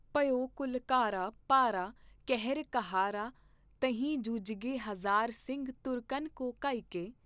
ਭਯੋ ਘਲੂਘਾਰਾ ਭਾਰਾ ਕਹਿਰ ਕਿਹਾਰਾ ਤਹਿਂ ਜੂਝਗੇ ਹਜ਼ਾਰਾਂ ਸਿੰਘ ਤੁਰਕਨ ਕੋ ਘਾਇਕੈ।